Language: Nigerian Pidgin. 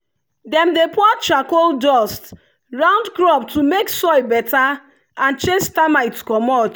dem dey pour charcoal dust round crop to make soil better and chase termite commot.